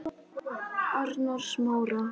Arnarsmára